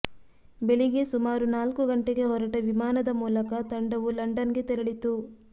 ಬೆಳಿಗ್ಗೆ ಸುಮಾರು ನಾಲ್ಕು ಗಂಟೆಗೆ ಹೊರಟ ವಿಮಾನದ ಮೂಲಕ ತಂಡವು ಲಂಡನ್ಗೆ ತೆರಳಿತು